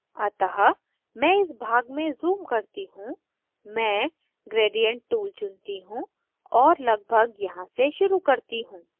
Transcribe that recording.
अतः मैं इस भाग में zoom करती हूँ मैं gradient tool चुनती हूँ और लगभग यहाँ से शुरू करती हूँ